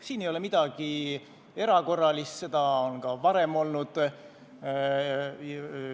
Siin ei ole midagi erakorralist, seda on ka varem olnud.